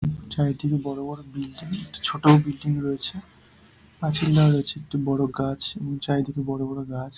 চারিদিকে বড় বড় বিল্ডিং ছোট বিল্ডিং রয়েছে পাঁচিল রয়েছে একটি বড় গাছ চারিদিকে বড় বড় গাছ।